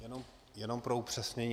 Jenom pro upřesnění.